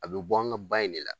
A bɛ bɔ an ŋa ba in de la.